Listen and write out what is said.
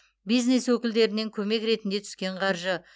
бизнес өкілдерінен көмек ретінде түскен қаржы